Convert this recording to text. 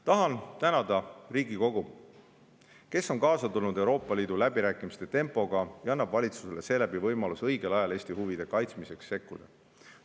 Tahan tänada Riigikogu, kes on kaasa tulnud Euroopa Liidu läbirääkimiste tempoga ja annab valitsusele seeläbi võimaluse õigel ajal Eesti huvide kaitsmiseks sekkuda.